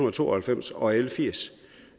og to og halvfems og l firs